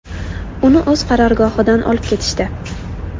Uni o‘z qarorgohidan olib ketishdi.